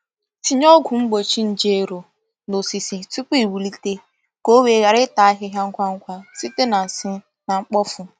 Tinye ọgwụ mgbochi nje ero na osisi tupu iwulite ka o wee ghara ịta ahịhịa ngwa ngwa site na nsị na mkpofu.